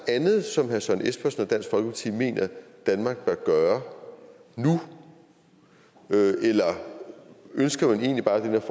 andet som herre søren espersen og dansk folkeparti mener at danmark bør gøre nu eller ønsker man egentlig bare den her